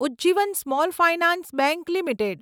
Ujjivan small finance bank limited